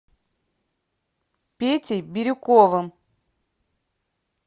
петей бирюковым